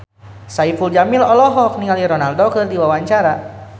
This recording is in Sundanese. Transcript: Saipul Jamil olohok ningali Ronaldo keur diwawancara